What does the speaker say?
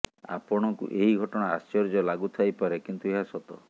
ଆପଣଙ୍କୁ ଏହି ଘଟଣା ଆଶ୍ଚର୍ଯ୍ୟ ଲାଗୁଥାଇପାରେ କିନ୍ତୁ ଏହା ସତ